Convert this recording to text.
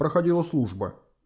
проходила служба